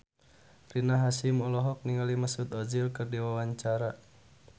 Rina Hasyim olohok ningali Mesut Ozil keur diwawancara